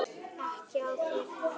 Ekki á þeirra vakt.